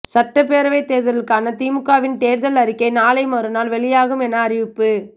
சட்டப்பேரவை தேர்தலுக்கான திமுகவின் தேர்தல் அறிக்கை நாளை மறுநாள் வெளியாகும் எனவும் அறிவிப்பு